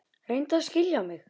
Reyndu að skilja mig.